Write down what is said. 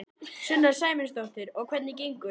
Sunna Sæmundsdóttir: Og hvernig gengur?